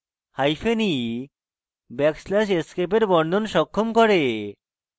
hyphen e backslash escape বর্ণন সক্ষম করে